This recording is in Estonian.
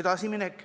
edasiminek.